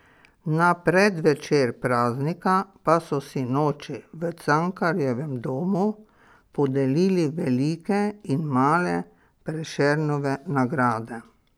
Na predvečer praznika pa so sinoči v Cankarjevem domu podelili velike in male Prešernove nagrade.